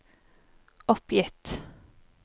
oppgitt